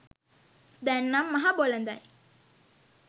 දැන්නම් මහ බොලඳයි